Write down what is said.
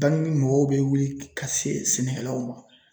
Baaraɲini mɔgɔw bɛ wuli ka se sɛnɛkɛlanw ma.